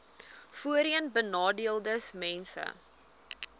voorheenbenadeeldesmense